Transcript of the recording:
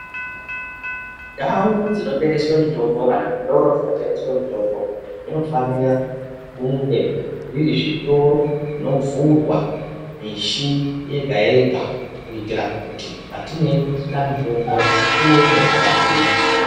Ndau dzinotengeswe mitombo kana zvitoro zvinotengeswe mitombo zvinofanira kunge zviri zvitoro zvinovhurwa mishi yega yega kuitira kuti patinoda mitombo tione zvakavhurika.